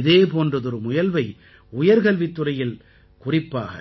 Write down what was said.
இதே போன்றதொரு முயல்வை உயர்கல்வித் துறையில் குறிப்பாக